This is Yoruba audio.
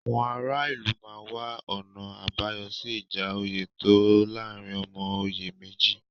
Àwọn ara ìlú máa wá ọ̀nà àbáyọ sí ìjà oyè tó láàárín ọmọ oyè méjì.